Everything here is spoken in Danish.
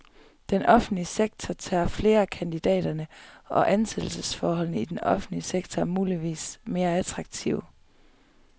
Den offentlige sektor tager flere af kandidaterne, og ansættelsesforholdene i det offentlige er muligvis mere attraktive.